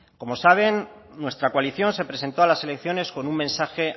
como saben nuestra coalición se presentó a las elecciones con un mensaje